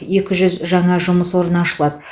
екі жүз жаңа жұмыс орны ашылады